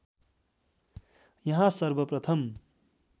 यहाँ सर्वप्रथम